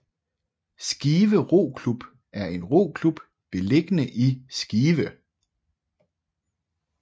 Skive Roklub er en roklub beliggende i Skive